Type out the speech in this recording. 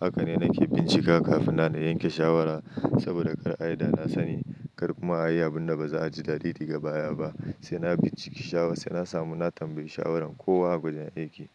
Haka ne nake bincika kafin na yanke shawara saboda kar ai da na sani, kar kuma ayi abun da ba za'a ji dadi daga baya ba. Sai na binciki shawara sai na samu na tambayi shawarar kowa a wajen aiki.